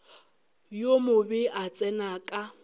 yo mobe a tsena ka